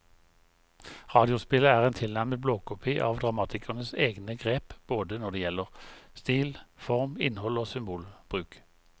Radiospillet er en tilnærmet blåkopi av dramatikerens egne grep både når det gjelder stil, form, innhold og symbolbruk.